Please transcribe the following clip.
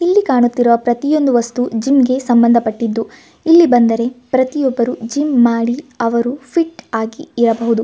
ಇಲ್ಲಿ ಕಾಣುತ್ತಿರುವ ಪ್ರತಿಯೊಂದು ವಸ್ತು ಜಿಮ್ ಗೆ ಸಮಂದಪಟ್ಟಿದ್ದು ಇಲ್ಲಿ ಬಂದರೆ ಪ್ರತಿಯೊಬ್ಬರು ಜಿಮ್ ಮಾಡಿ ಅವರು ಫಿಟ್ ಆಗಿ ಇರಬಹುದು.